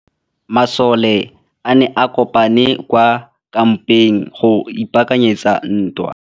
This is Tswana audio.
Masole a ne a kopane kwa kampeng go ipaakanyetsa ntwa.